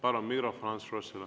Palun mikrofon Ants Froschile.